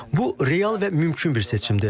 Bu real və mümkün bir seçimdir.